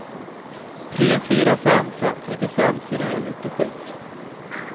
tre fyra fem fem trettiofem fyrahundranittiosju